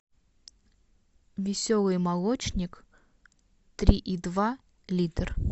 веселый молочник три и два литр